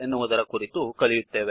ಎನ್ನುವುದರ ಕುರಿತು ಕಲಿಯುತ್ತೇವೆ